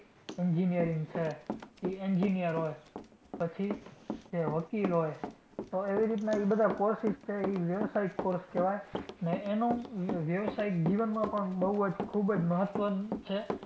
Engineering છે, કે engineer હોય પછી કે વકીલ હોય, તો એવી રીતના ઈ બધાં courses છે ઈ વ્યવસાયિક course કહેવાય. અને એનું વ્યવસાય જીવનમાં પણ બઉ જ ખૂબ જ મહત્વનું છે.